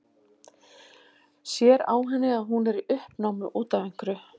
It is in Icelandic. Sér á henni að hún er í uppnámi út af einhverju.